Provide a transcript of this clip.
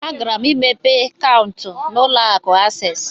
Agara m imepe Kaụntụ na ụlọ akụ Asees.